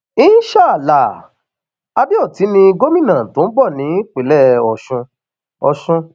in shaa allah adeoti ni gomina tó ń bọ nípìnlẹ ọsùn ọsùn